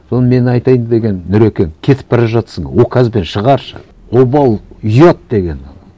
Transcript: соны мен айтайын дегенім нұрекең кетіп бара жатырсың указбен шығаршы обал ұят деген ана